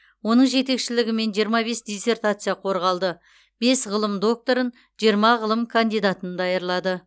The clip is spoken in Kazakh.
оның жетекшілігімен жиырма бес диссертация қорғалды бес ғылым докторын жиырма ғылым кандидатын даярлады